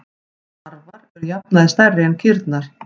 Tarfar eru að jafnaði stærri en kýrnar.